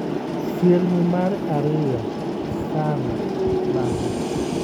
Sirni mar ariyo: Salah (Lamo).